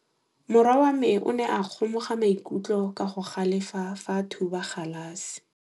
Morwa wa me o ne a kgomoga maikutlo ka go galefa fa a thuba galase.